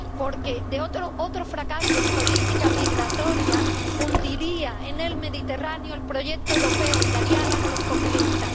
Porque otro fracaso en política migratoria hundiría en el Mediterráneo el proyecto europeo y daría alas a los populistas.